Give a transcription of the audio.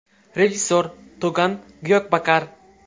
Rejissor: Togan Gyokbakar.